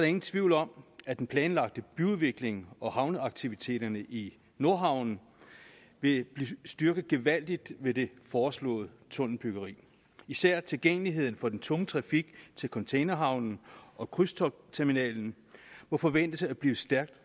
ingen tvivl om at den planlagte byudvikling og havneaktiviteterne i nordhavnen vil blive styrket gevaldigt ved det foreslåede tunnelbyggeri især tilgængeligheden for den tunge trafik til containerhavnen og krydstogtsterminalen må forventes at blive stærkt